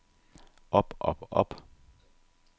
op op op